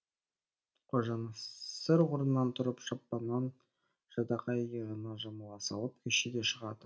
қожанасыр орнынан тұрып шапанын жадағай иығына жамыла салып көшеге шығады